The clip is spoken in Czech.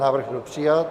Návrh byl přijat.